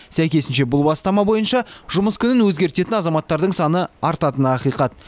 сәйкесінше бұл бастама бойынша жұмыс күнін өзгертетін азаматтардың саны артатыны ақиқат